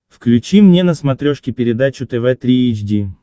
включи мне на смотрешке передачу тв три эйч ди